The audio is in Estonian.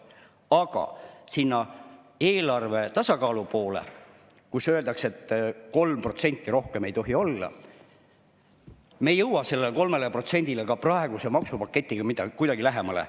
Aga eelarve tasakaalu poole – öeldakse, et 3%, rohkem ei tohi olla –, sellele 3%-le me ei jõua ka praeguse maksupaketiga kuidagi lähemale.